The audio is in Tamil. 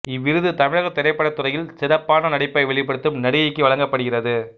இவ்விருது தமிழகத் திரைப்படத்துறையில் சிறப்பான நடிப்பை வெளிப்படுத்தும் நடிகைக்கு வழங்கப்படுகிறது